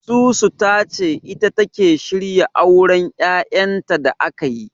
Susu ta ce ita take shirya auren Yayanta da ake yi..